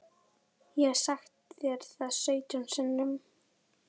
Ég hef sagt þér það sautján sinnum.